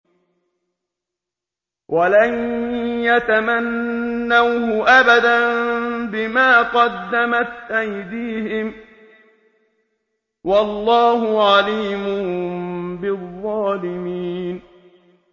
وَلَن يَتَمَنَّوْهُ أَبَدًا بِمَا قَدَّمَتْ أَيْدِيهِمْ ۗ وَاللَّهُ عَلِيمٌ بِالظَّالِمِينَ